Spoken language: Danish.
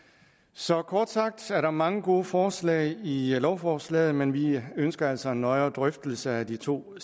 så kort sagt er der mange gode forslag i lovforslaget men vi ønsker altså en nøjere drøftelse af de to